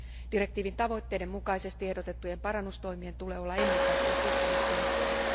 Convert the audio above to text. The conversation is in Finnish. Direktiivin tavoitteiden mukaisesti ehdotettujen parannustoimien tulee olla ennen kaikkea kustannustehokkaita.